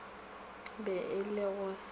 be e le go se